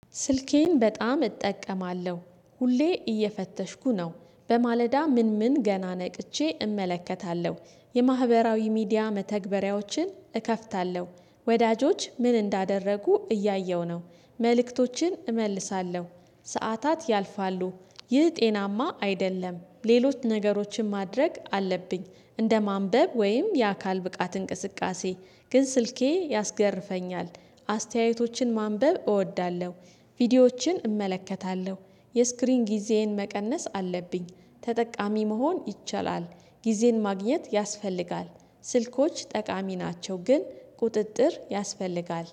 ስልኬን በጣም እጠቀማለሁ ሁሌ እየፈተሽኩ ነው በማለዳ ምን ምን ገና ነቅቼ እመለከታለሁ የማህበራዊ ሚዲያ መተግበሪያዎችን እከፍታለሁ ወዳጆች ምን እንዳደረጉ እያየሁ ነው። መልእክቶችን እመልሳለሁ ሰዓታት ያልፋሉ። ይህ ጤናማ አይደለም ሌሎች ነገሮችን ማድረግ አለብኝ። እንደ ማንበብ ወይም የአካል ብቃት እንቅስቃሴ። ግን ስልኬ ያስገርፈኛል። አስተያየቶችን ማንበብ እወዳለሁ። ቪዲዮዎችን እመለከታለሁ። የስክሪን ጊዜዬን መቀነስ አለብኝ ተጠቃሚ መሆን ይቻላል። ጊዜን ማግኘት ያስፈልጋል። ስልኮች ጠቃሚ ናቸው ግን ቁጥጥር ያስፈልጋል